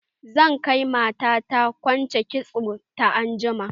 Zan kai mata na kwance kitson ta anjima.